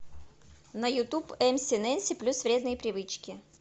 на ютуб эмси нэнси плюс вредные привычки